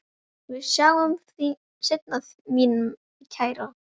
Við sjáumst seinna mín kæra.